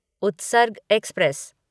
Utsarg express